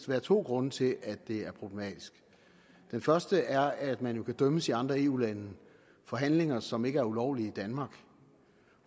være to grunde til at det er problematisk den første er at man jo kan dømmes i andre eu lande for handlinger som ikke er ulovlige i danmark